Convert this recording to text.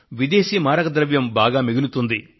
విదేశీ మారకద్రవ్యం బాగా మిగులుతుంది